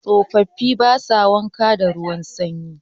Tsofafi ba sa wanka da ruwan sanyi.